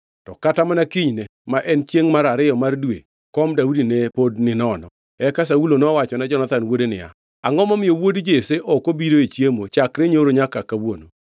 To kata mana kinyne, ma en chiengʼ mar ariyo mar dwe, kom Daudi ne pod ninono. Eka Saulo nowachone Jonathan wuode niya, “Angʼo momiyo wuod Jesse ok obiro e chiemo, chakre nyoro nyaka kawuono?”